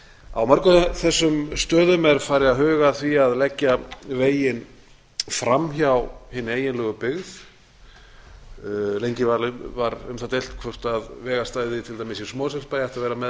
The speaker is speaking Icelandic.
á mörgum þessum stöðum er farið að huga að því að leggja veginn fram hjá hinni eiginlegu byggð lengi var um það deilt hvort vegastæði til dæmis í mosfellsbæ ætti að vera með